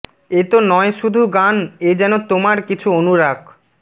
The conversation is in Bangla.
এ তো নয় শুধু গান এ যেন তোমার কিছু অনুরাগ